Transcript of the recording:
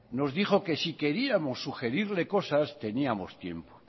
nos dijo que si queríamos sugerirle cosas teníamos tiempo